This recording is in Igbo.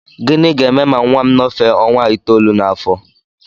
Gịnị ga-eme ma nnwa m nọfee ọnwa itoolu n'afọ?